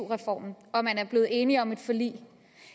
reformen og man er blevet enige om et forlig